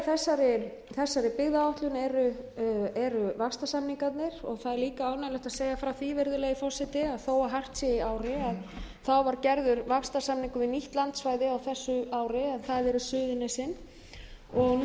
í þessari byggðaáætlun eru vaxtarsamningarnir það er líka ánægjulegt að segja frá því virðulegi forseti að þó hart sé í ári var gerður vaxtarsamningar við nýtt landsvæði á þessu ári en það eru